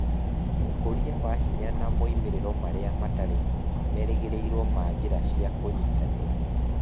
Ũkũria wa hinya na moimĩrĩro marĩa matarĩ merĩgĩrĩirũo ma njĩra cia kũnyitanĩra